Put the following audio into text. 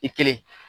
I kelen